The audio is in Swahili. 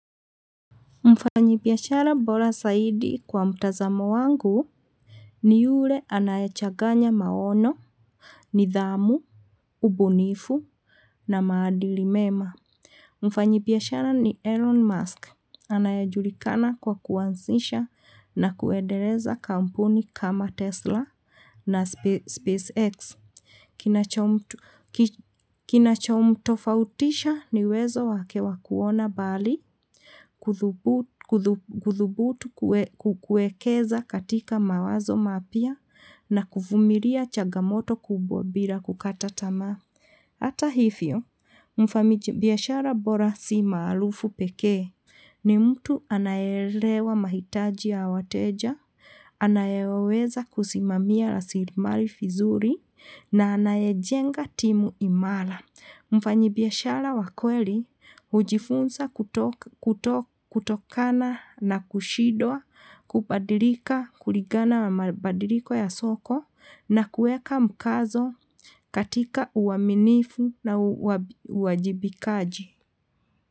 Mfanyibiashara bora zaidi kwa mtazamo wangu ni yule anayechaganya maono, nidhamu, ubunifu na maadili mema. Mfanyibiashara ni Elon Musk, anayejulikana kwa kuanzisha na kuendeleza kampuni kama Tesla na SpaceX. Kinachomtofautisha ni uwezo wake wa kuona mbali, kuthubutu kuekeza katika mawazo mapya na kuvumiria chagamoto kubwa bila kukata tamaa. Hata hivyo, mfanyibiashara bora si maarufu pekee, ni mutu anayeelewa mahitaji ya wateja, anayeweza kusimamia rasilimali vizuri, na anayejenga timu imara. Mfanyibiashara wa kweli, hujifunza kutokana na kushindwa, kubadilika kulingana na mabadiliko ya soko, na kuweka mkazo katika uaminifu na uwajibikaji.